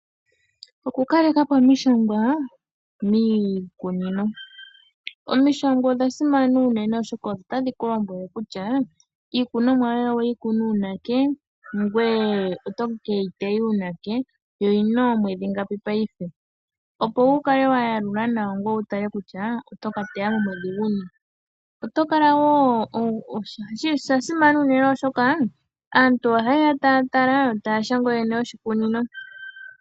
Oku kaleka po omishangwa miikunino, omishangwa odha simana unene oshoka otadhi kulombwele kutya iikunomwa yoye oweyi kuna uunake? ngoye oto keyi taya uunake? Yo oyina oomwedhi ngapi paife? Opo wukale wayalula nawa kutya ngoye oto ka teya momwedhi guni. Osha simana unene oshoka aantu ohaye ya taya tala yo taya shanga ooyene yoshikunino.